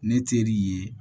Ne teri ye